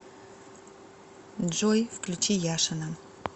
джой включи яшина